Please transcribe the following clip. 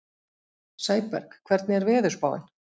Sæberg, hvernig er veðurspáin?